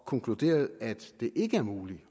konkluderet at det ikke er muligt